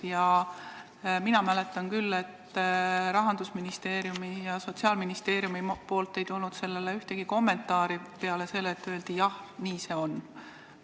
Ja mina mäletan küll, et Rahandusministeeriumist ja Sotsiaalministeeriumist ei tulnud sellele ühtegi kommentaari peale selle, et öeldi: "Jah, nii see on.